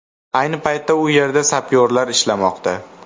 Ayni paytda u yerda sapyorlar ishlamoqda.